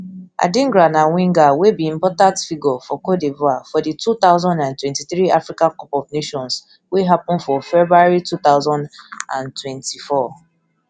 adingra na winger wey be important figure for cote divoire for di two thousand and twenty-three africa cup of nations wey happun for february two thousand and twenty-four